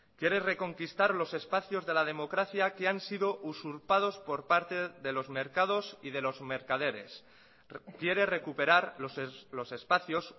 quiere reconquistar los espacios de la democracia que han sido usurpados por parte de los mercados y de los mercaderes quiere recuperar los espacios